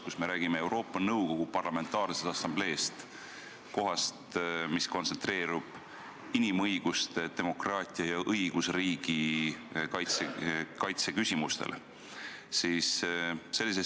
Me räägime Euroopa Nõukogu Parlamentaarsest Assambleest kui kohast, mis kontsentreerub inimõiguste, demokraatia ja õigusriigi kaitse küsimustele.